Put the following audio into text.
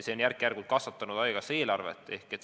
See on järk-järgult haigekassa eelarvet kasvatanud.